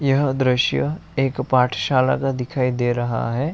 यह दृश्य एक पाठशाला का दिखाई दे रहा है।